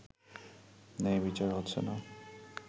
ন্যায় বিচার হচ্ছে না